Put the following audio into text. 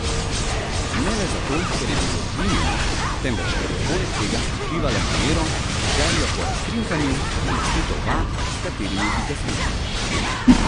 Ne le zato ker je bilo hlinjeno, temveč ker je poleg tega prikrivalo namero, željo po razkrinkanju, namestitev vab, s katerimi bi ga skušal.